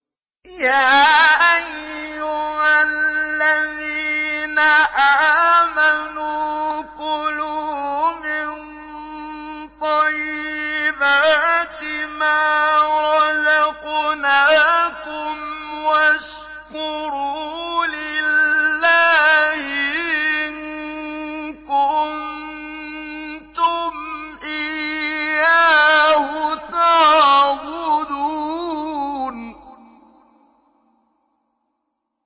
يَا أَيُّهَا الَّذِينَ آمَنُوا كُلُوا مِن طَيِّبَاتِ مَا رَزَقْنَاكُمْ وَاشْكُرُوا لِلَّهِ إِن كُنتُمْ إِيَّاهُ تَعْبُدُونَ